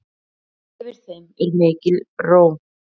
Yfir þeim er mikil ró.